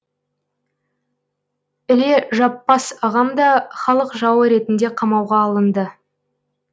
іле жаппас ағам да халық жауы ретінде қамауға алынды